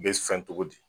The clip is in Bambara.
U bɛ fɛn togo di